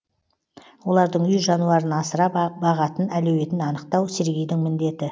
олардың үй жануарын асырап бағатын әлеуетін анықтау сергейдің міндеті